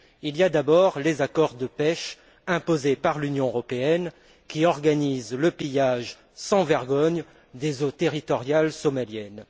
Il y a d'abord les accords de pêche imposés par l'Union européenne qui organisent le pillage sans vergogne des eaux territoriales somaliennes.